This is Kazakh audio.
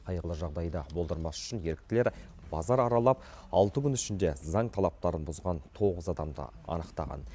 қайғылы жағдайды болдырмас үшін еріктілер базар аралап алты күн ішінде заң талаптарын бұзған тоғыз адамды анықтаған